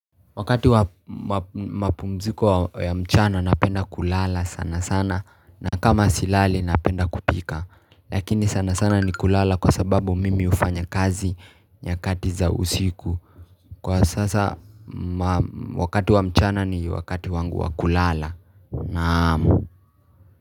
Wakati wa mapumziko ya mchana napenda kulala sana sana na kama silali napenda kupika. Lakini sana sana ni kulala kwa sababu mimi hufanya kazi nyakati za usiku. Kwa sasa wakati wa mchana ni wakati wangu wa kulala. Naam.